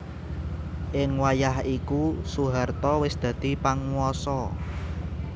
Ing wayah iku Soeharto wis dadi panguwasa